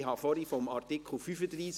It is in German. Ich habe von Artikel 35 gesprochen.